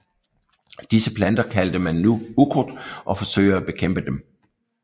Disse planter kalder man nu ukrudt og forsøger at bekæmpe dem